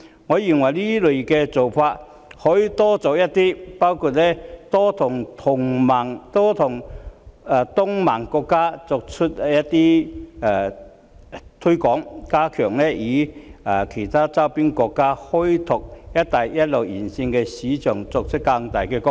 我認為這類工作可多做一些，包括多向東盟國家推廣或加強與其他周邊國家開拓"一帶一路"沿線的市場，從而作出更大的貢獻。